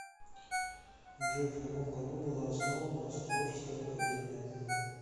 джой в каком году была основана острожская академия